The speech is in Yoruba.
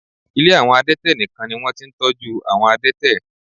Ilé àwọn adẹ́tẹ̀ nìkan ni wọ́n ti ń tọ́jú àwọn adẹ́tẹ̀